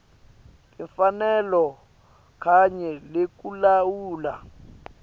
timfanelo kanye nekulawula